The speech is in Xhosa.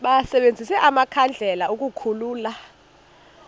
basebenzise amakhandlela ukukhulula